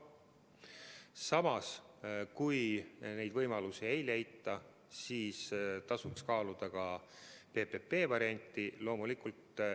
Samas, kui neid võimalusi ei leita, siis tasuks kaaluda ka PPP varianti.